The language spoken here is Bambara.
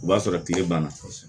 O b'a sɔrɔ tile banna